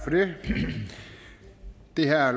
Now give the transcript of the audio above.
til herre